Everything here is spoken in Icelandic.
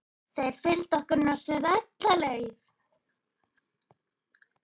María: Ertu til í að sýna okkur einhverja titla?